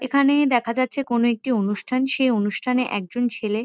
এখানে দেখা যাচ্ছে কোনো একটি অনুষ্ঠান। সেই অনুষ্ঠানে একজন ছেলে--